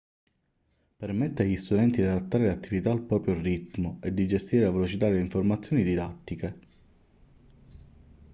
permette agli studenti di adattare le attività al proprio ritmo e di gestire la velocità delle informazioni didattiche